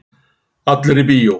Allir í bíó!